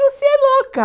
Você é louca!